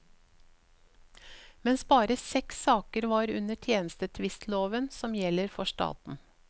Mens bare seks saker var under tjenestetvistloven som gjelder for staten.